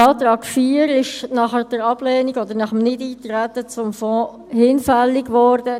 Der Antrag 4 ist nach der Ablehnung oder nach dem Nichteintreten auf den Fonds hinfällig geworden.